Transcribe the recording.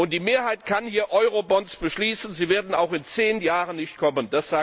Die Mehrheit kann hier Eurobonds beschließen, sie werden auch in zehn Jahren nicht kommen.